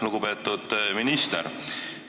Lugupeetud minister!